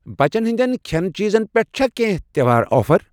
بَچن ہِنٛدؠن کھٮ۪نہٕ چیٖزن پٮ۪ٹھ چھا کینٛہہ تہٚوہار آفر؟